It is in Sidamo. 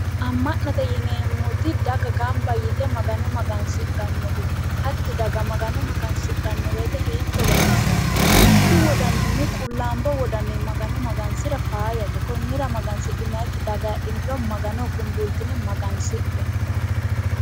Ama'note yineemmoti dagga gamba yite magano magansidhanote, hatti dagga magano magasidhano woyte hiitto baxisano ,mitu qulaambo wodaninni magano magansira faayyate konira magasihinannikkiri daga heedhiniro Maganoho kunbulitine magansidhe.